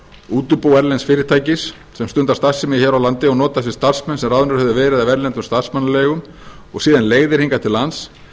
útibú erlends fyrirtækis sem stundar starfsemi hér á landi og notar sér starfsmenn sem ráðnir hafa verið af erlendum starfsmannaleigum og síðan leigðir hingað til lands